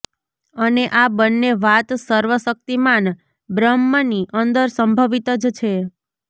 અને આ બંને વાત સર્વ શક્તિમાન બ્રહ્મની અંદર સંભવિત જ છે